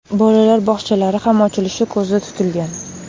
Bolalar bog‘chalari ham ochilishi ko‘zda tutilgan.